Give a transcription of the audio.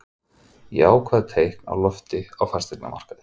Jákvæð teikn á lofti á fasteignamarkaði